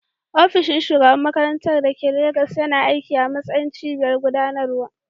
Ofishin shugaban makarantar da ke Legas yana aiki a matsayin cibiyar gudanarwa.